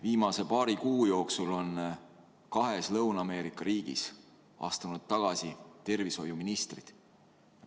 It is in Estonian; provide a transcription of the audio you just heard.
Viimase paari kuu jooksul on kahes Lõuna-Ameerika riigis astunud tagasi tervishoiuministrid.